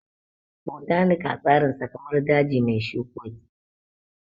Botanika tsarinsa kamar daji mai shukoki